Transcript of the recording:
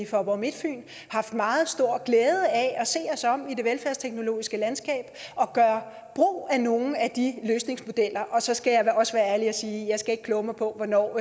faaborg midtfyn meget stor glæde af at se os om i det velfærdsteknologiske landskab og gøre brug af nogle af de løsningsmodeller og så skal jeg også være ærlig og sige at jeg ikke skal kloge mig på hvornår